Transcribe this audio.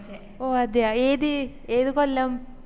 ഓ അതേയ ഏത് ഏത് കൊല്ലം